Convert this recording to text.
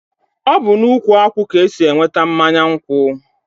ọ bụ n'ukwu akwụ ka esi enweta mmanya nkwụ.